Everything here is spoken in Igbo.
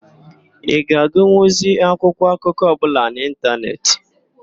Ị ga-agụnwuzi akwụkwọ akụkọ ọbụla n'ịntanetị.